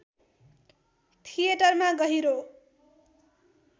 थिएटरमा गहिरो